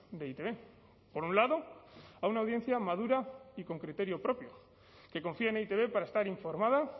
de e i te be por un lado a una audiencia madura y con criterio propio que confía en e i te be para estar informada